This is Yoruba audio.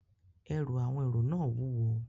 Ẹrù àwọn èrò náà wúwo